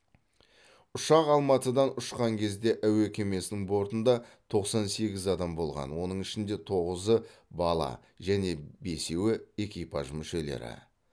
ұшақ алматыдан ұшқан кезде әуе кемесінің бортында тоқсан сегіз адам болған оның ішінде тоғызы бала және бесеуі экипаж мүшелері